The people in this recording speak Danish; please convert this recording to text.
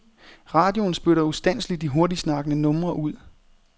Radioen spytter ustandselig de hurtigtsnakkende numre ud.